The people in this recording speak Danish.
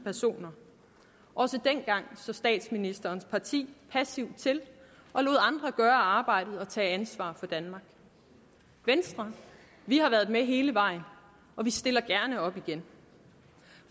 personer også dengang så statsministerens parti passivt til og lod andre gøre arbejdet og tage ansvar for danmark venstre har været med hele vejen og vi stiller gerne op igen